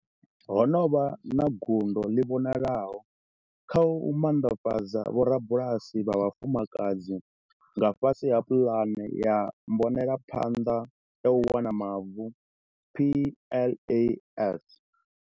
Ho vha na gundo ḽi vhonalaho kha u manḓafhadza vhorabulasi vha vhafumakadzi nga fhasi ha pulane ya mbonelaphanḓa ya u wana Mavu PLAS.